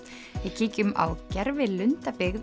kíkjum á